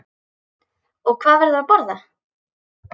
Og hvað verður að borða?